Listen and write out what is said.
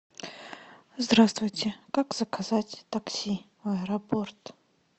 здравствуйте как заказать такси в аэропорт